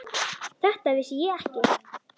Þetta vissi ég ekki.